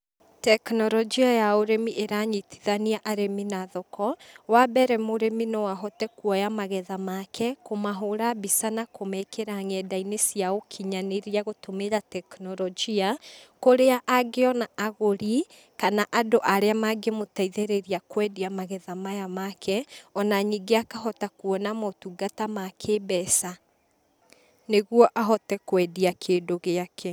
Tekinoronjia ya ũrĩmi ĩranyitithania arĩmi na thoko, wa mbere, mũrĩmi no ahote kuoya magetha make, kũmahũra mbica na kũmekĩra nenda-inĩ cia ũkinyanĩria gũtũmĩra tekinoronjia, kũrĩa angĩona agũrĩ, kana andũ arĩa mangĩmũteithĩrĩria kwendia magetha maya make, o na ningĩ akahota kũona motungata ma kĩmbeca, nĩguo ahote kwendĩa kĩndũ gĩake.